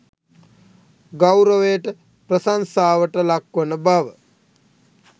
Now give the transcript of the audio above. ගෞරවයට, ප්‍රශංසාවට ලක්වන බව